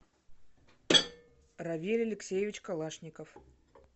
равиль алексеевич калашников